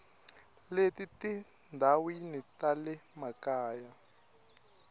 le tindhawini ta le makaya